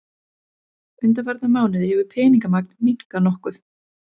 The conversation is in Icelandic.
Undanfarna mánuði hefur peningamagn minnkað nokkuð